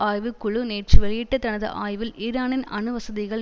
ஆய்வு குழு நேற்று வெளியிட்ட தனது ஆய்வில் ஈரானின் அணு வசதிகள்